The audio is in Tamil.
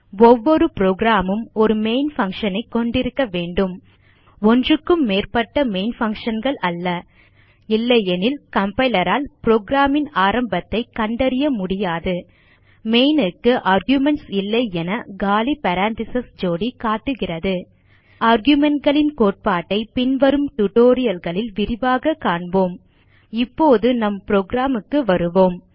ஒவ்வொரு புரோகிராம் மும் ஒரு மெயின் பங்ஷன் ஐ கொண்டிருக்க வேண்டும் ஒன்றுக்கும் மேற்பட்ட மெயின் functionகள் அல்ல இல்லையெனில் கம்பைலர் ஆல் புரோகிராம் ன் ஆரம்பத்தை கண்டறிய முடியாது மெயின் க்கு ஆர்குமென்ட்ஸ் இல்லை என காலி பேரெந்தீசஸ் ஜோடி காட்டுகிறது argumentகளின் கோட்பாட்டை பின்வரும் tutorialகளில் விரிவாக காண்போம் இப்போது நம் புரோகிராம் க்கு வருவோம்